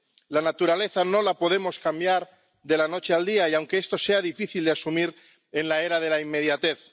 La naturaleza no la podemos cambiar de la noche al día, aunque esto sea difícil de asumir en la era de la inmediatez.